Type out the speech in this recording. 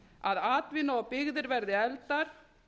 að atvinna og byggðir verði efldar